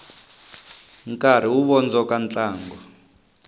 nkarhi wu vondzoka ntlangu